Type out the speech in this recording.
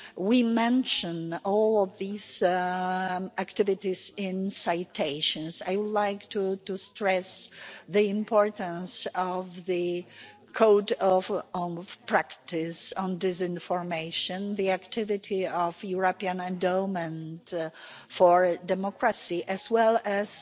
We mention all of these activities in citations. I would like to stress the importance of the Code of Practice on Disinformation, the activity of the European Endowment for Democracy as well